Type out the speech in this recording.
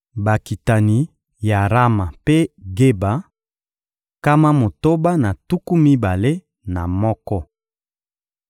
Bakitani ya Rama mpe Geba: nkama motoba na tuku mibale na moko.